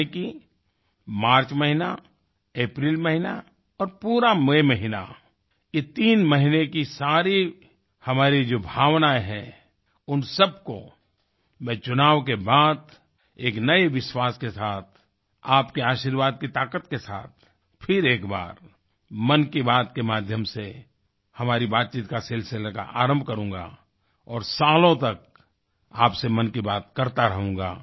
यानि कि मार्च महीना अप्रैल महीना और पूरा मई महीना ये तीन महीने की सारी हमारी जो भावनाएँ हैं उन सबको मैं चुनाव के बाद एक नए विश्वास के साथ आपके आशीर्वाद की ताकत के साथ फिर एक बार मन की बात के माध्यम से हमारी बातचीत के सिलसिले का आरम्भ करूँगा और सालों तक आपसे मन की बात करता रहूँगा